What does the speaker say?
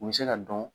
U bɛ se ka dɔn